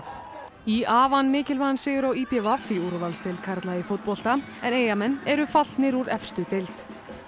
í a vann mikilvægan sigur á í b v í úrvalsdeild karla í fótbolta en Eyjamenn eru fallnir úr efstu deild